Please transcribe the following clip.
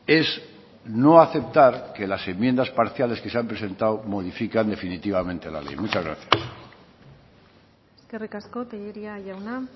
es no aceptar que las enmiendas parciales que se han presentado modifican definitivamente la ley muchas gracias eskerrik asko tellería jauna